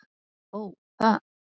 Ó, það!